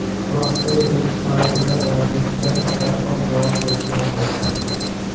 Rossiya elchixonasida vaziyatda darhol javob berilmadi.